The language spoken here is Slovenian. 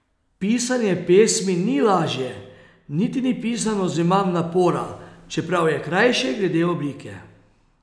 Pisanje pesmi ni lažje, niti ni pisano z manj napora, čeprav je krajše glede oblike.